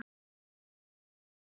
Júlía enn að hlæja.